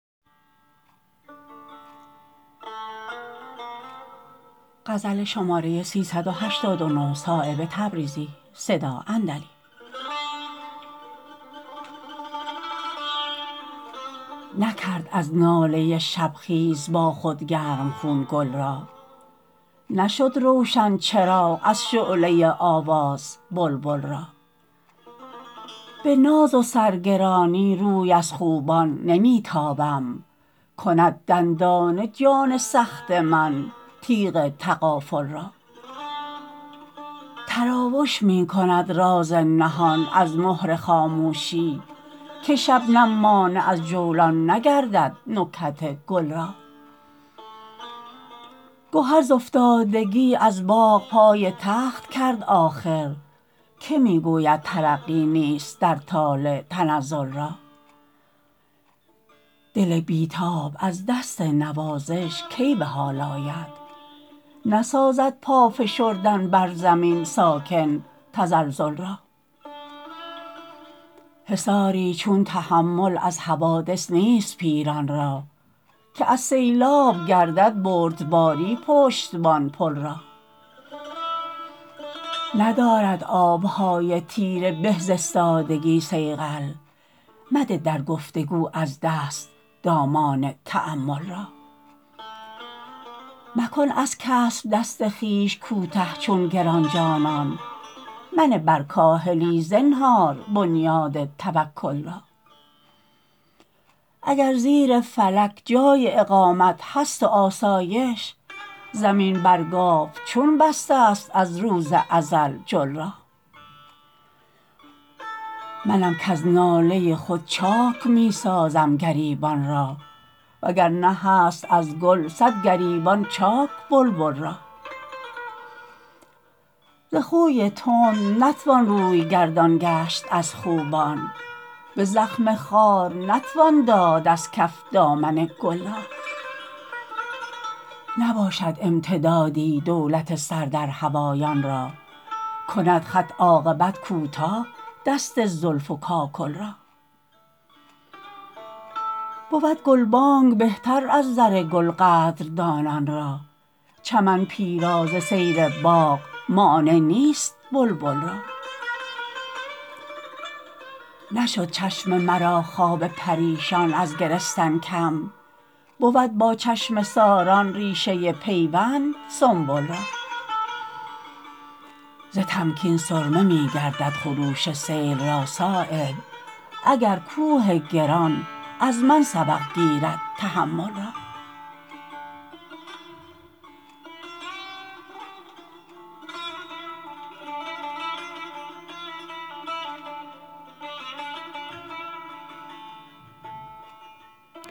نکرد از ناله شبخیز با خود گرمخون گل را نشد روشن چراغ از شعله آواز بلبل را به ناز و سر گرانی روی از خوبان نمی تابم کند دندانه جان سخت من تیغ تغافل را تراوش می کند راز نهان از مهر خاموشی که شبنم مانع از جولان نگردد نکهت گل را گهر ز افتادگی از باغ پای تخت کرد آخر که می گوید ترقی نیست در طالع تنزل را دل بی تاب از دست نوازش کی به حال آید نسازد پا فشردن بر زمین ساکن تزلزل را حصاری چون تحمل از حوادث نیست پیران را که از سیلاب گردد بردباری پشتبان پل را ندارد آبهای تیره به ز استادگی صیقل مده در گفتگو از دست دامان تأمل را مکن از کسب دست خویش کوته چون گرانجانان منه بر کاهلی زنهار بنیاد توکل را اگر زیر فلک جای اقامت هست و آسایش زمین بر گاو چون بسته است از روز ازل جل را منم کز ناله خود چاک می سازم گریبان را وگرنه هست از گل صد گریبان چاک بلبل را ز خوی تند نتوان روی گردان گشت از خوبان به زخم خار نتوان داد از کف دامن گل را نباشد امتدادی دولت سر در هوایان را کند خط عاقبت کوتاه دست زلف و کاکل را بود گلبانگ بهتر از زر گل قدردانان را چمن پیرا ز سیر باغ مانع نیست بلبل را نشد چشم مرا خواب پریشان از گرستن کم بود با چشمه ساران ریشه پیوند سنبل را ز تمکین سرمه می گردد خروش سیل را صایب اگر کوه گران از من سبق گیرد تحمل را